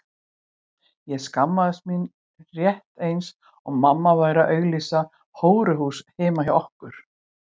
Ég skammaðist mín rétt eins og mamma væri að auglýsa hóruhús heima hjá okkur.